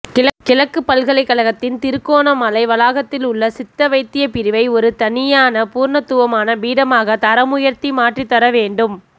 கிழக்குப்பல்கலைக்கழகத்தின் திருகோணமலை வளாகத்தில் உள்ள சித்தவைத்திய பிரிவை ஒரு தனியான பூரணத்தவமான பீடமாக தரமுயர்த்தி மாற்றிதர வேண்டும்